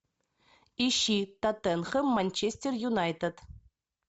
ищи тоттенхэм манчестер юнайтед